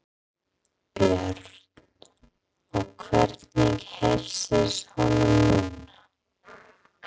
Björn: Og hvernig heilsast honum núna?